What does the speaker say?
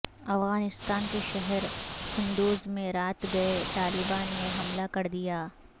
افغانستان کے شہر قندوز میں رات گئے طالبان نے حملہ کردیا